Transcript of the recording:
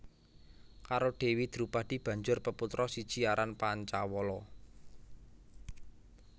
Karo Dewi Drupadi banjur peputra siji aran Pancawala